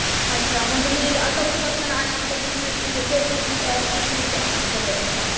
हान मी चौथी पासून आमचा बिजनेस म्हणजे केटरिंग बिजनेस आहे आमचा स्वतःचा